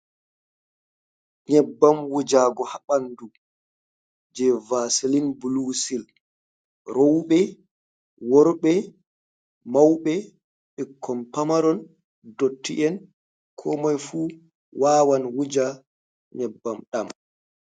Nyebbam wujugo ha ɓandu, jei vasilin bulu sil. Rouɓe, worɓe, mauɓe, ɓikkon Pamaron ,dotti'en komoifu wawan wuja nyebbam ɗam.